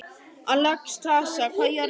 Alexstrasa, hvað er jörðin stór?